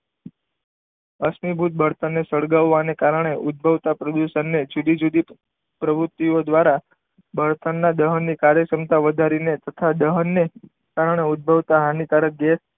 આશ્મિ ભૂત બળતરને સળગવાની કારણે ઉદભવતા પ્રદૂષણને જુદી જુદી પ્રવૃત્તિઓ દ્વારા બળતણના દહનની કાર્ય ક્ષમતા વધારીને તથા દહનને કારણે ઉદ્ભવતા હાનિકારક ગેસ,